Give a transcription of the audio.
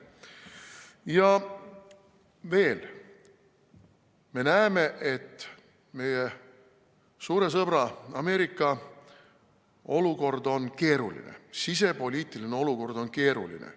Ja veel, me näeme, et meie suure sõbra Ameerika olukord, sisepoliitiline olukord on keeruline.